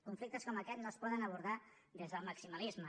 conflictes com aquest no es poden abordar des del maximalisme